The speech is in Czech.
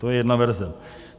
To je jedna verze.